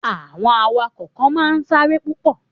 Àwọn awakọ̀ kan máa n sáré púpọ̀